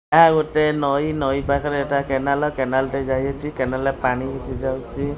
ଏହା ଗୋଟେ ନଈ ନଈ ପାଖରେ ଏଇଟା କେନାଲ୍ କେନାଲ ଟେ ଯାଇଅଛି କେନାଲ ରେ ପାଣି କିଛି ଯାଉଛି।